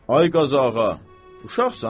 Ay Qazağa, uşaqsan?